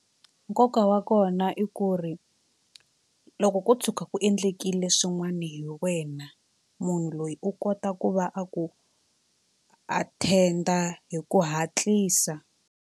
Nkoka wa kona i ku ri loko ko tshuka ku endlekile swin'wana hi wena munhu loyi u kota ku va a ku attend-a hi ku hatlisa.